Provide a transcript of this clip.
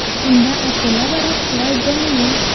Unda ashula va raqslar jonli.